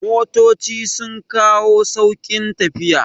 Motoci sun kawo sauƙin tafiya